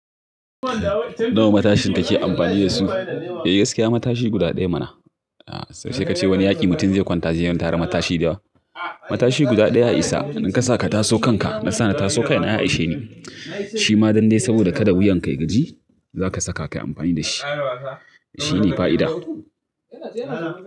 Nawa matashin kake amfani da su? Eh gaskiya matashi guda ɗaya mana. Sai ka ce wani yaƙi mutum zai kwanta sai tara matashi da yawa. Matashi guda ɗaya ya Isa in ka sa ka taso kanka na sa na taso kaina ya sishe ni. Shi ma dan de saboda kada wuyan ka ya gaji zaka saka kayi amfani da shi. Shi ne fa'ida.